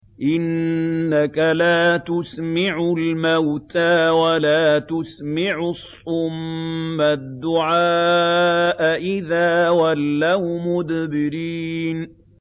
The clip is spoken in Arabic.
إِنَّكَ لَا تُسْمِعُ الْمَوْتَىٰ وَلَا تُسْمِعُ الصُّمَّ الدُّعَاءَ إِذَا وَلَّوْا مُدْبِرِينَ